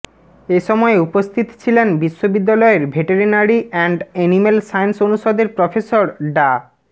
এ সময় উপস্থিত ছিলেন বিশ্ববিদ্যালয়ের ভেটেরিনারি অ্যান্ড এনিম্যাল সায়েন্স অনুষদের প্রফেসর ডা